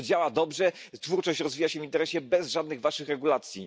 To działa dobrze, twórczość rozwija się w internecie bez żadnych waszych regulacji.